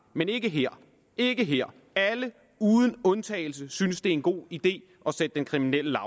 men ikke her ikke her alle uden undtagelse synes det er en god idé at sætte den kriminelle